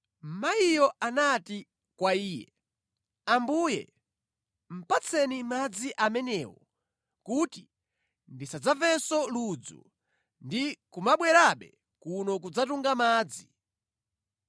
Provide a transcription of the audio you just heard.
Mayiyo anati kwa Iye, “Ambuye, patseni madzi amenewo kuti ndisadzamvenso ludzu ndi kumabwerabe kuno kudzatunga madzi.”